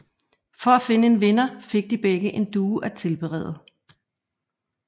For at finde en vinder fik de begge fik en due at tilberede